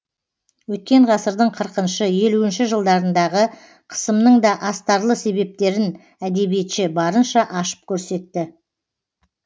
өткен ғасырдың қырқыншы елуінші жылдарындағы қысымның да астарлы себептерін әдебиетші барынша ашып көрсетті